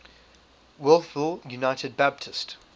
wolfville united baptist